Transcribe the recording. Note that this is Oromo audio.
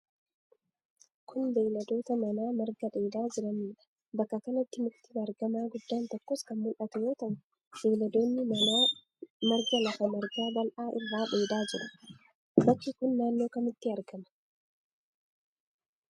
Kun, beeyladoota manaa marga dheedhaa jiranii dha. Baka kanatti mukti baargamaa guddaan tokkos kan mul'atu yoo ta'u, beeyiladoonni manaa marga lafa margaa bal'aa irraa dheedhaa jiru. Bakki kun naannoo kamitti argama?